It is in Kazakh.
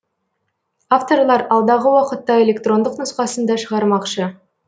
авторлар алдағы уақытта электрондық нұсқасын да шығармақшы